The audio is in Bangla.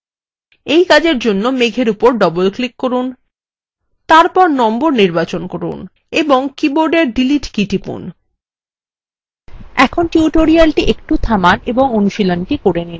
এই কাজের জন্য মেঘ এর উপর double click করুন তারপর number নির্বাচন করুন তারপর সংখ্যাটি নির্বাচন করুন এবং কীবোর্ডের মুছুন key টিপুন